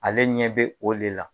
Ale ɲɛ bɛ o le la